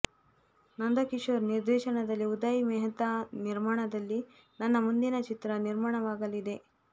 ನಂದಕಿಶೋರ್ ನಿರ್ದೇಶನದಲ್ಲಿ ಉದಯ್ ಮೆಹ್ತಾ ನಿರ್ಮಾಣದಲ್ಲಿ ನನ್ನ ಮುಂದಿನ ಚಿತ್ರ ನಿರ್ಮಾಣವಾಗಲಿದೆ